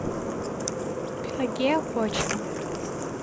пелагея кочева